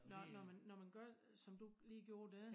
Når når man når man gør som du lige gjorde dér